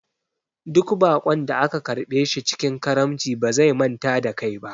Duk baƙon da ka karɓe shi cikin karamci ba zai manta da kai ba